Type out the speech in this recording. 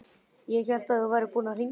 Ég hélt að þú værir búinn að hringja.